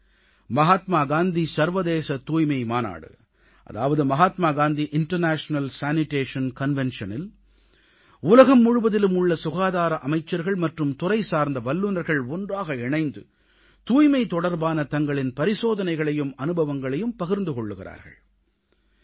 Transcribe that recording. மகாத்மா காந்தி சர்வதேச தூய்மை மாநாடு அதாவது மகாத்மா காந்தி இன்டர்நேஷனல் சானிடேஷன் Conventionஇல் உலகம் முழுவதிலும் உள்ள சுகாதார அமைச்சர்கள் மற்றும் துறைசார்ந்த வல்லுனர்கள் ஒன்றாக இணைந்து தூய்மை தொடர்பான தங்களின் பரிசோதனைகளையும் அனுபவங்களையும் பகிர்ந்து கொள்கிறார்கள்